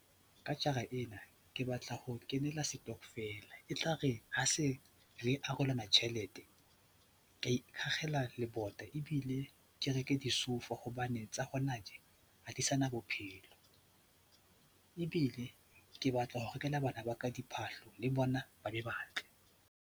Ka jara ena ke batla ho kenela setokofela, e tla re ha se re arolana tjhelete, ka iakgela lebota ebile ke reke disoufa hobane tsa hona tje ha di sa na bophelo ebile ke batla ho rekela bana ba ka diphahlo le bona ba be ba tle.